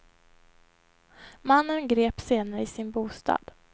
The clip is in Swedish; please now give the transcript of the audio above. Mannen greps senare i sin bostad.